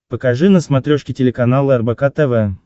покажи на смотрешке телеканал рбк тв